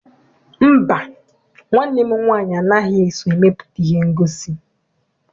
Mba, nwanne m nwaanyị anaghị eso emepụta ihe ngosi.